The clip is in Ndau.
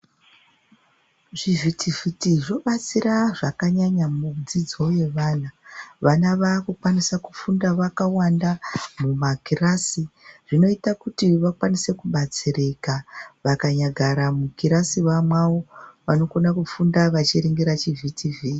Zvivhitivhiti zvobatsira zvakanyanya mudzidzo yevanhu. Vana vaakukwanisa kufunda vakawanda mumakirasi, zvinoita kuti vakwanise kubatsirika. Vakanyagara mukirasi mwawo vanokona kufunda vachiringira chivhitivhiti.